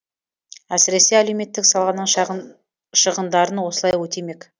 әсіресе әлеуметтік саланың шығындарын осылай өтемек